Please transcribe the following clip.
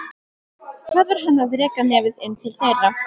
Hvað var hann að reka nefið inn til þeirra?